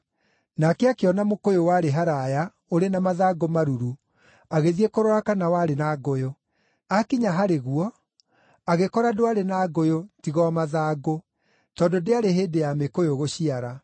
Nake akĩona mũkũyũ warĩ haraaya ũrĩ na mathangũ maruru agĩthiĩ kũrora kana warĩ na ngũyũ. Aakinya harĩ guo, agĩkora ndwarĩ na ngũyũ tiga o mathangũ, tondũ ndĩarĩ hĩndĩ ya mĩkũyũ gũciara.